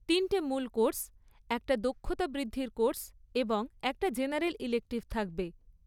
তিনটে মূল কোর্স, একটা দক্ষতা বৃদ্ধির কোর্স এবং একটা জেনারেল ইলেকটিভ থাকবে।